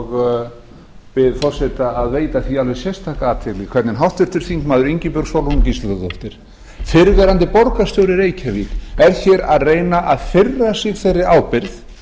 og ég bið forseta að veita því alveg sérstaka athygli hvernig háttvirtur þingmaður ingibjörg sólrún gísladóttir fyrrverandi borgarstjóri í reykjavík er hér að reyna að firra sig þeirri ábyrgð